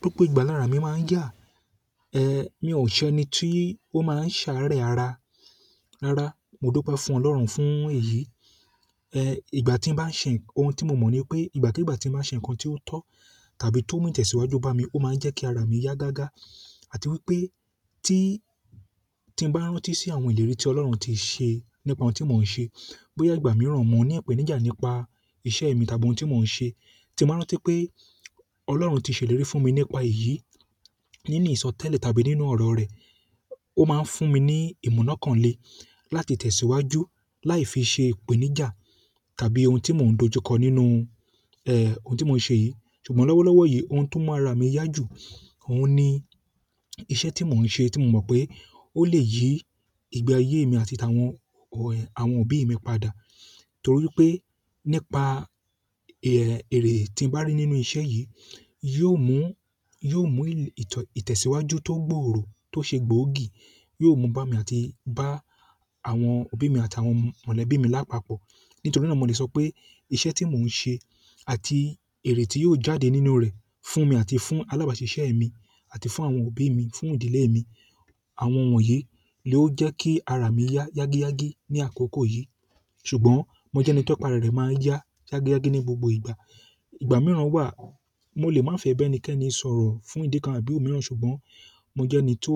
Gbogbo ìgbà lára mi máa ń yà, eh mi ò n ṣe ni tí ó máa ń sáré ara. Rárá, mo dupe fún Ọlọ́run fún èyí. Eh ìgbà tí bá ń ṣe ohun tí mo mọ̀ ní pé ìgbàkígbà tí mo bá ṣe nǹkan tí ó tọ́ tàbí tó mú ìtẹ̀síwájú bá mi, ó máa ń jẹ́ kí ara mi yá gágá. Àti wípé tí, tí n bá rántí sí àwọn ìlérí tí Ọlọ́run ti ṣe nípa ohun tí mo ń ṣe, boya ìgbà mìíràn mo ní ìpèníjà nípa iṣẹ́ mi tàbí ohun tí mo ń ṣe, tí mo ba rántí pé Ọlọ́run ti ṣe ìlérí fún mi nípa èyí nínú ìsọtẹ́lẹ̀ tàbí nínú ọ̀rọ̀ rẹ̀, ó máa ń fún mi ní ìmọ̀ náà kàn le láti tẹ̀síwájú láì fi ṣe ìpèníjà tàbí ohun tí mo ń dojúkọ nínú eh ohun tí mo ṣe yìí. Ṣùgbọ́n lọ́wọ́lọ́wọ́ yìí ohun tó mu ara mi yá jù, òun ni iṣẹ́ tí mo ń ṣe tí mo mọ̀ pé ó lè yí ìgbe ayé mi àti ti àwọn ẹ òbí mi padà. Nítorí pé nípa ère ère tí ń bá rí nínú iṣẹ́ yìí, yóò mú, yóò mú ìtẹ̀síwájú tó gbòòrò tó ṣe gbòógì, yóò mú bá mi àti bá àwọn òbí mi àti àwọn mọ̀lẹ́bí mi lápapọ̀. Nítorí náà mo lè sọ pé iṣẹ́ tí mo ń ṣe àti èrè tí yóò jáde nínú rẹ̀ fún mi àti fún alábàásisẹ́ mi àti fún àwọn òbí mi, fún ìdílé mi, àwọn wọ̀nyí ló jẹ́ kí ara mi yá yági yági ní àkókò yìí. Ṣùgbọ́n mo jẹ́ ẹni ti apa re máa yá yági yági ní gbogbo ìgbà. Ìgbà mìíràn wà, mo lè má fẹ́ ba ẹnikẹ́ni sọ̀rọ̀ fún ìdí kan àbí ò mìíràn, ṣùgbọ́n mo jẹ́ ẹni tó